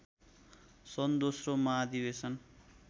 सन् दोस्रो महाधिवेशन